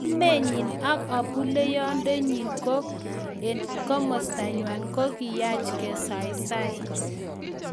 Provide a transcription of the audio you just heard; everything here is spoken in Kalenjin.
"Kamenyin ak abuleyendonyin en komostanywan ko kiyach kesaisai."